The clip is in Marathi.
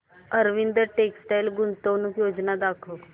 अरविंद टेक्स्टाइल गुंतवणूक योजना दाखव